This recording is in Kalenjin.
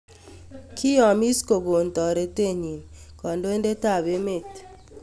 Kiyomis kogon toreteenyin kandoindetap emeet